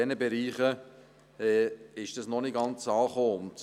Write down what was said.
In diesen Bereichen ist dies noch nicht ganz angekommen.